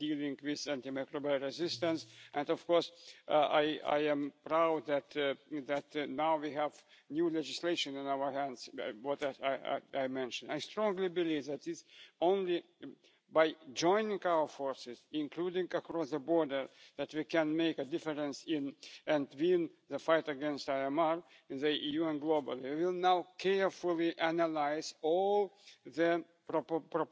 On the contrary, in many cases it was the existence of legislation which complicated matters. It was therefore important to address issues such as lengthy or unclear administrative procedures, complex and confusing information which is all over the place and difficulties in getting access to various public services. To make matters worse, when information is available only in a single language, it is not necessarily understood